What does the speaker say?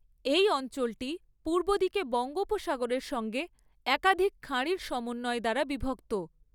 এই অঞ্চলটি পূর্বদিকে বঙ্গোপসাগরের সঙ্গে একাধিক খাঁড়ির সমন্বয় দ্বারা বিভক্ত।